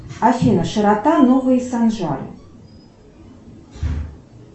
афина широта новый санжар